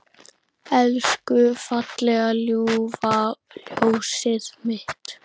Elsku fallega ljúfa ljósið mitt.